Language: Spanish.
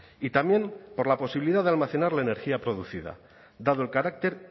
y también por la posibilidad de almacenar la energía producida dado el carácter